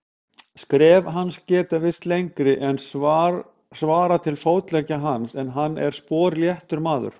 Skref hans geta virst lengri en svarar til fótleggja hans, en hann er sporléttur maður.